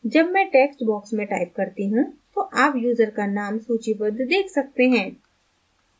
जब मैं text box में type करती you तो आप यूज़र का name सूचीबद्ध देख सकते हैं